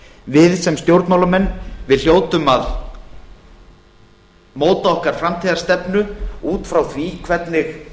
við sem stjórnmálamenn við hljótum að móta okkar framtíðarstefnu út frá því hvernig